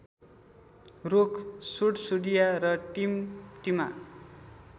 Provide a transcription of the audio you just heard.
रूख सुडसुडिया र टिमटिमा